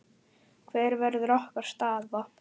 Hver verður okkar staða?